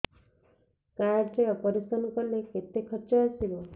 card ରେ operation କଲେ କେତେ ଖର୍ଚ ଆସିବ